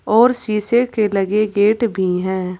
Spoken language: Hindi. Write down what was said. और शीशे के लगे गेट भी हैं।